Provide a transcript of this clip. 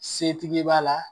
Setigi b'a la